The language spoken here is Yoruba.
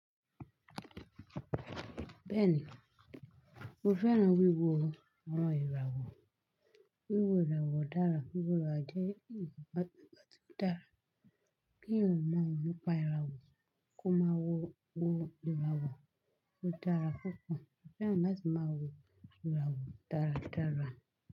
Bẹ́ẹ̀ni, mo fẹ́ràn wíwo àwọn ìràwọ̀. Wíwo ìràwọ̀ dára, wíwò ìràwọ̀ jẹ́ èyí tó bá ti dára. Kí eyan máa wọ́pọ̀ ìràwọ̀ kó máa wo ìràwọ̀ o dára púpọ̀. Mo fẹ́ràn láti máa wo ìràwọ̀ dáradára.